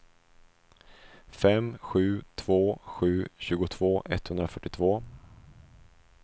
fem sju två sju tjugotvå etthundrafyrtiotvå